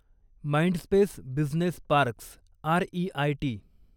Mindspace business parks REIT